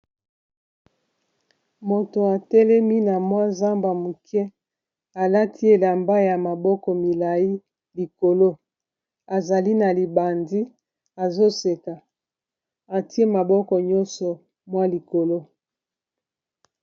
moto atelemi na mwa zamba moke alati elamba ya maboko milai likolo azali na libandi azoseka atie maboko nyonso mwa likolo